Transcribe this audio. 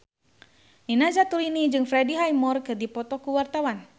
Nina Zatulini jeung Freddie Highmore keur dipoto ku wartawan